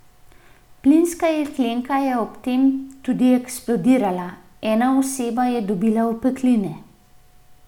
Plinska jeklenka je ob tem tudi eksplodirala, ena oseba je dobila opekline.